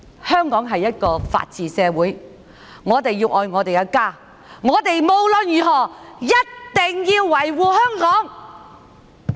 香港是一個法治社會，我們要愛我們的家，無論如何一定要維護香港。